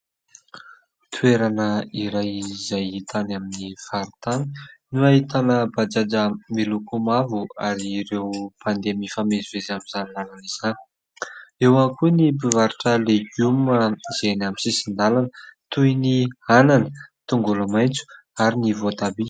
Toerana iray izay hita any amin'ny faritany no ahitana bajaja miloko mavo ary ireo mpandeha mifamezivezy amin'izany lalana izany. Eo ihany koa ny mpivarotra legioma izay eny amin'ny sisin-dalana toy ny anana, tongolo maintso ary ny voatabia.